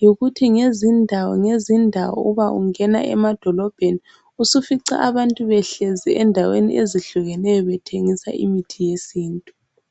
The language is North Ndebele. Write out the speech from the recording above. yikuthi, ngezindawo ngezindawo uba ungena emadolobheni usufica abantu behlezi endaweni ezitshiyeneyo bethengisa imithi yesintu.